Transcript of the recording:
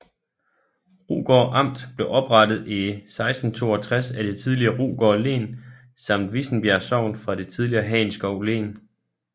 Rugård Amt blev oprettet i 1662 af det tidligere Rugård Len samt Vissenbjerg Sogn fra det tidligere Hagenskov Len